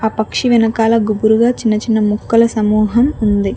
ఆ పక్షి వెనకాల గుబురుగా చిన్న చిన్న ముక్కలు సమూహం ఉంది.